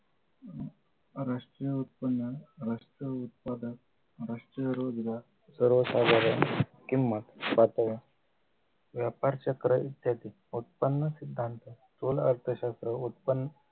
राष्ट्रीय उत्पन्न राष्ट्रीय उत्पादक राष्ट्रीय रोजगार सर्वसाधारण किंमत साठी व्यापारचक्र इत्यादी उत्पन्न सिद्धांत अर्थशास्त्र उत्पन्न